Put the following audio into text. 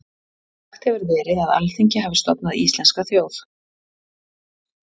Sagt hefur verið að Alþingi hafi stofnað íslenska þjóð.